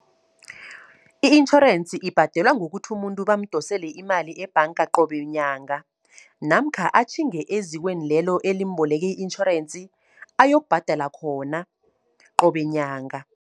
I-itjhorensi ibhadelwa ngokuthi umuntu bamdosele imali ebhanga, qobe nyanga. Namkha atjhinge ezikweni lelo, elimboleke itjhorensi ayokubhadala khona, qobe nyanga.